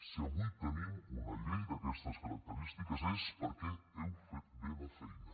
si avui tenim una llei d’aquestes característiques és perquè heu fet bé la feina